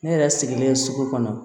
Ne yɛrɛ sigilen sugu kɔnɔ